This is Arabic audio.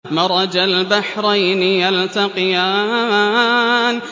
مَرَجَ الْبَحْرَيْنِ يَلْتَقِيَانِ